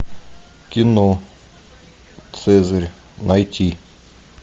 кино цезарь найти